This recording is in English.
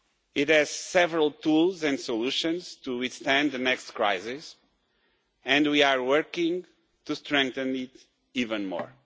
It has several tools and solutions to withstand the next crisis, and we are working to strengthen it even more.